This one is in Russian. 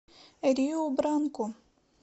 риу бранку